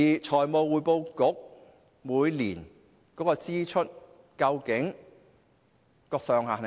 財務匯報局每年的支出上限究竟是多少？